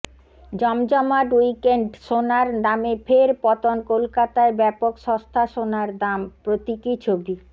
জমজমাট উইকেন্ড সোনার দামে ফের পতন কলকাতায় ব্যাপক সস্তা সোনার দাম প্রতীকী ছবি